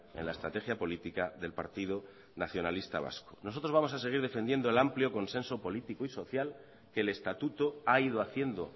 en la estrategia política del partido nacionalista vasco nosotros vamos a seguir defendiendo el amplio consenso político y social que el estatuto ha ido haciendo